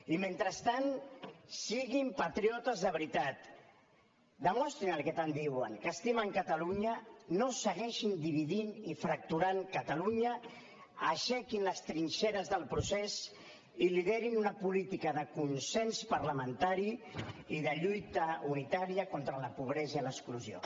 i mentrestant siguin patriotes de veritat demostrin el que tant diuen que estimen catalunya no segueixin dividint i fracturant catalunya aixequin les trinxeres del procés i liderin una política de consens parlamentari i de lluita unitària contra la pobresa i l’exclusió